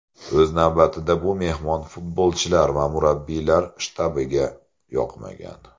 O‘z navbatida bu mehmon futbolchilar va murabbiylar shtabiga yoqmagan.